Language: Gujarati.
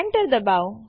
ચાલો સ્ક્રીન સાફ કરીએ